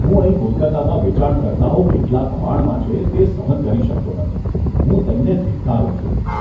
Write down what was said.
હું અહીં કોલકાતામાં વેચાણકર્તાઓ કેટલા દબાણમાં છે, તે સહન કરી શકતો નથી. હું તેમને ધિક્કારું છું.